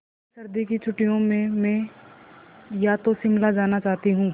अगली सर्दी की छुट्टियों में मैं या तो शिमला जाना चाहती हूँ